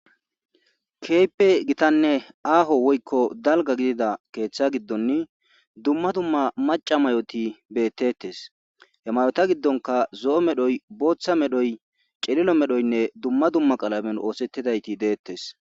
kehipe gitanne aaho woykko dalga gidida keeththa giddonni dumma dumma maca mayoti beettettes he mayota giddonka zo'o medhoy booththa medhoy cililo medhoynne dumma dumma qalamen oosettidayti deettes